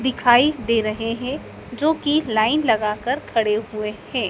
दिखाई दे रहे हैं जो की लाइन लगाकर खड़े हुए हैं।